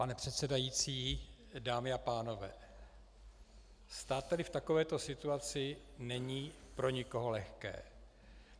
Pane předsedající, dámy a pánové, stát tady v takovéto situaci není pro nikoho lehké.